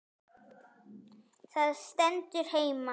Það stendur heima.